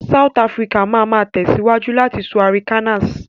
South Áfíríkà ma ma tẹ̀síwájú láti má sọ Arikannas